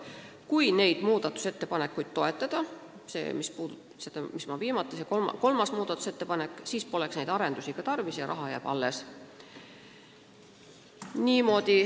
Kui seda kolmandat muudatusettepanekut toetada, siis poleks neid arendustöid tarvis ja raha jääks alles.